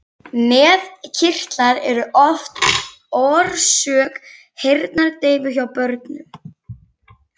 Nefkirtlar eru oft orsök heyrnardeyfu hjá börnum.